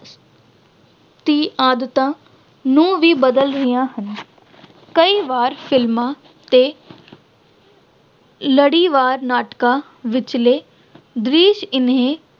ਦੀਆਂ ਆਦਤਾਂ ਨੂੰ ਵੀ ਬਦਲ ਰਹੀਆਂ ਹਨ। ਕਈ ਵਾਰ films ਤੇ ਲੜੀਵਾਰ ਨਾਟਕਾਂ ਵਿਚਲੇ